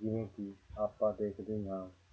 ਜਿਵੇਂ ਕਿ ਆਪਾਂ ਦੇਖਦੇ ਹਾਂ।